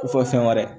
Ko fɔ fɛn wɛrɛ